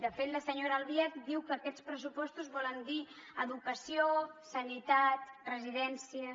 de fet la senyora albiach diu que aquests pressupostos volen dir educació sanitat residències